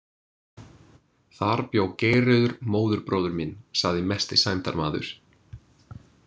Þar bjó Geirröður móðurbróðir minn, sagður mesti sæmdarmaður.